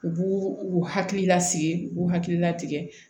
U b'u u hakili lasigi u b'u hakilina tigɛ